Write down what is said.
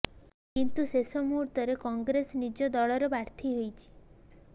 କିନ୍ତୁ ଶେଷ ମୁହୂର୍ତ୍ତରେ କଂଗ୍ରେସ ନିଜ ଦଳର ପ୍ରାର୍ଥୀ ଦେଇଛି